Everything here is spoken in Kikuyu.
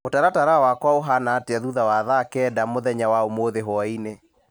mũtaratara wakwa ũhana atĩa thutha wa thaa kenda mũthenya wa ũmũthĩ hwaĩ-inĩ